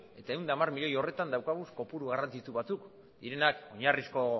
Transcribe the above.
eta ehun eta hamar milioi horretan dauzkagun kopuru garrantzitsu batzuk direnak oinarrizko